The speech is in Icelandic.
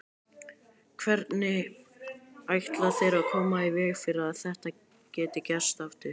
Hvernig ætla þeir að koma í veg fyrir að þetta geti gerst aftur?